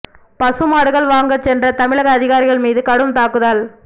பசு மாடுகள் வாங்கச் சென்ற தமிழக அதிகாரிகள் மீது கடும் தாக்குதல்